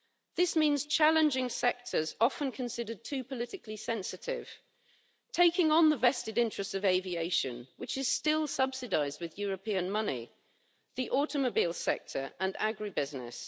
This means challenging sectors often considered too politically sensitive, taking on the vested interests of aviation, which is still subsidised with European money, the automobile sector and agribusiness.